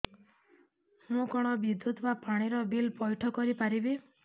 ମୁ କଣ ବିଦ୍ୟୁତ ବା ପାଣି ର ବିଲ ପଇଠ କରି ପାରିବି